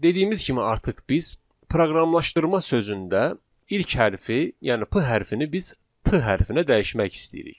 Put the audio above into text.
Dediyimiz kimi artıq biz proqramlaşdırma sözündə ilk hərfi, yəni p hərfinin, biz p hərfinə dəyişmək istəyirik.